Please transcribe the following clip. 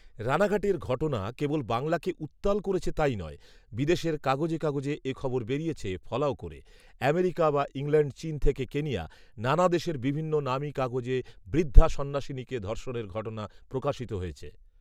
রানাঘাটের ঘটনা কেবল বাংলাকে উত্তাল করেছে তাই নয়, বিদেশের কাগজে কাগজে এ খবর বেরিয়েছে ফলাও করে৷ আমেরিকা বা ইংল্যান্ড, চীন থেকে কেনিয়া, নানা দেশের বিভিন্ন নামী কাগজে বৃদ্ধা সন্ন্যাসিনীকে ধর্ষণের ঘটনা প্রকাশিত হয়েছে।